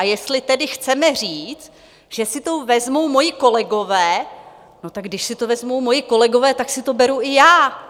A jestli tedy chceme říct, že si to vezmou moji kolegové - no tak když si to vezmou moji kolegové, tak si to beru i já.